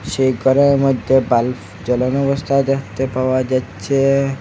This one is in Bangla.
সেই ঘরের মধ্যে বাল্ফ জ্বলানো অবস্থায় দেখতে পাওয়া যাচ্ছে।